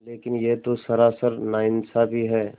लेकिन यह तो सरासर नाइंसाफ़ी है